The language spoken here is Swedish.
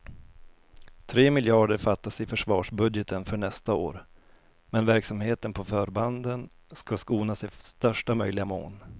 Tre miljarder fattas i försvarsbudgeten för nästa år, men verksamheten på förbanden ska skonas i största möjliga mån.